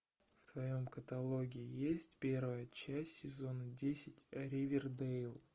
в твоем каталоге есть первая часть сезона десять ривердейл